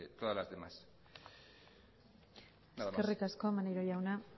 todas las demás nada más eskerrik asko maneiro jauna